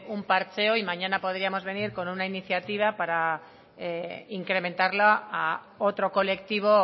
un parcheo y mañana podríamos venir con una iniciativa para incrementarla a otro colectivo